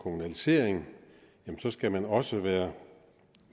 kommunalisering skal man også være